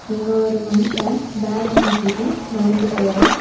இங்க ஒரு மனுஷ பேக மாட்டிட்டு நடந்து போறா.